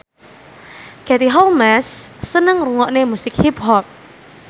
Katie Holmes seneng ngrungokne musik hip hop